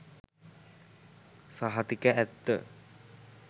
සහතික ඇත්ත.